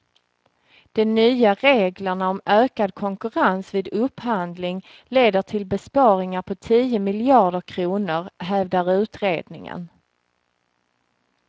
De nya reglerna om ökad konkurrens vid upphandling leder till besparingar på tio miljarder kronor, hävdar utredningen.